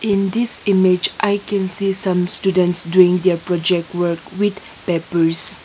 in this image can see some students doing their project work with papers.